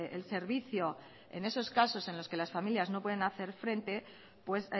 el servicio en esos casos en los que las familias no pueden hacer frente pues